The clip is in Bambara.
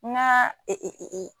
N y'a